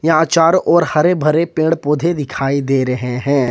यहां चारों ओर हरे भरे पेड़ पौधे दिखाई दे रहे हैं।